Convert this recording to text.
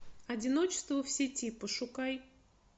одиночество в сети пошукай